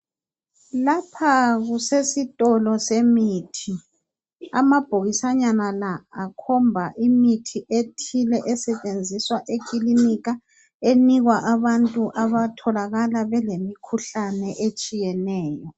Lapha kusesitolo semithi. Amabhokisanyana la akhomba imithi ethile esetshenziswa ekilinika. Enikwa abantu abatholakala belemikhuhlane etshiyeneyo.